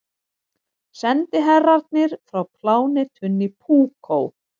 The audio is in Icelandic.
Sendiherrarnir frá plánetunni Púkó.